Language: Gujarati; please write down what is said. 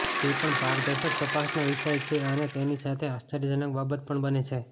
તે પણ પારદર્શક તપાસનો વિષય છે અને તેની સાથે આશ્ચર્યજનક બાબત પણ બને છે